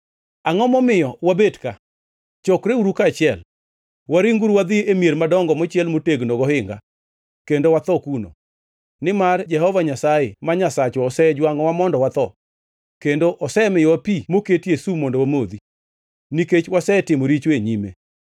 Angʼo momiyo wabet ka? Chokreuru kaachiel! Waringuru wadhi e mier madongo mochiel motegno gohinga kendo watho kuno! Nimar Jehova Nyasaye, ma Nyasachwa osejwangʼowa mondo watho, kendo osemiyowa pi moketie sum mondo wamodhi, nikech wasetimo richo e nyime.